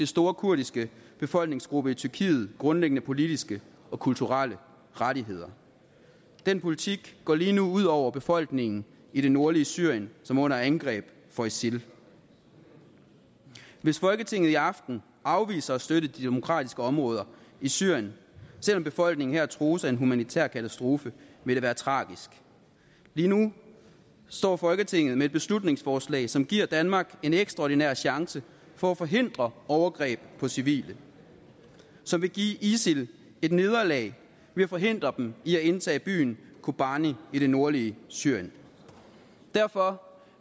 store kurdiske befolkningsgruppe i tyrkiet grundlæggende politiske og kulturelle rettigheder den politik går lige nu ud over befolkningen i det nordlige syrien som er under angreb fra isil hvis folketinget i aften afviser at støtte de demokratiske områder i syrien selv om befolkningen her trues af en humanitær katastrofe vil det være tragisk lige nu står folketinget med et beslutningsforslag som giver danmark en ekstraordinær chance for at forhindre overgreb på civile og som vil give isil et nederlag ved at forhindre dem i at indtage byen kobani i det nordlige syrien derfor